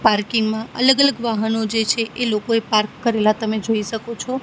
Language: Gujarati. પાર્કિંગ માં અલગ અલગ વાહનો જે છે એ લોકોએ પાર્ક કરેલા તમે જોઈ શકો છો.